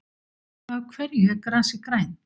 Af hverju er grasið grænt?